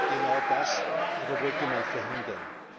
Genau das aber wollte man verhindern.